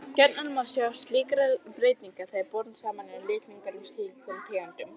Gjarnan má sjá merki slíkra breytinga þegar bornir eru saman litningar úr skyldum tegundum.